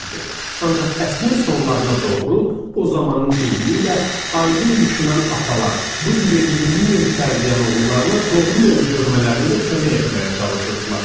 Ancaq əsrin sonlarına doğru, o zamanın deyimi ilə aydın düşünən atalar bığ yeri yeni-yeni tərləyən oğullarına doğru yolu görmələrində kömək etməyə çalışırdılar.